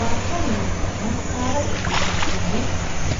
baatto loosidhenna saara je'e galteoori